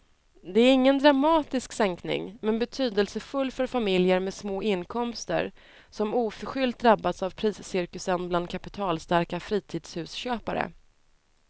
Det är ingen dramatisk sänkning men betydelsefull för familjer med små inkomster som oförskyllt drabbats av priscirkusen bland kapitalstarka fritidshusköpare.